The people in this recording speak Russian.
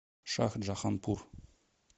шахджаханпур